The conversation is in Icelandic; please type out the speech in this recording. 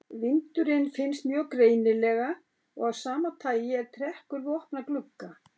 Vindurinn finnst mjög greinilega og af sama tagi er trekkur við opna glugga.